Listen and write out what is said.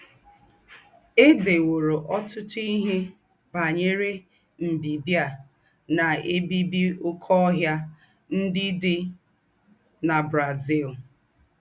È déwòrọ̀ ọ́tùtù íhe bányerè mbìbì à ná-èbíbí óké óhìà ńdị́ dị́ na Brazil.